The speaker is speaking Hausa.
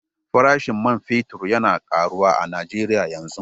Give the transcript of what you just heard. Farashin man fetur yana karuwa a Najeriya yanzu.